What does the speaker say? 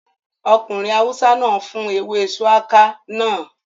Ọkùnrin awúsá náà fún ewé shùwákà náà